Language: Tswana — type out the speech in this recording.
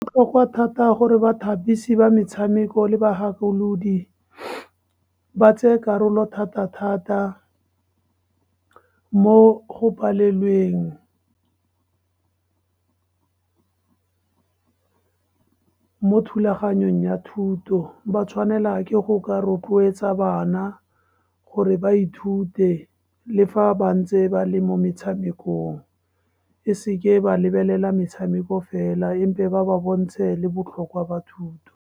Go kwa thata gore bathapisi ba metshameko le bagakolodi, ba tse karolo thata-thata mo go palelweng, mo thulaganyong ya thuto. Ba tshwanela ke go ka rotloetsa bana gore ba ithute, le fa ba ntse ba le mo metshamekong, e seke ba lebelela metshameko fela, ba ba bontshe le botlhokwa ba thuto.